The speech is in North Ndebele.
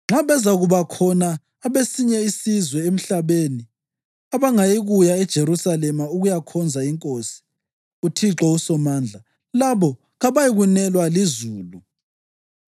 Nxa bezakuba khona abesinye isizwe emhlabeni abangayikuya eJerusalema ukuyakhonza Inkosi, uThixo uSomandla, labo kabayikunelwa lizulu.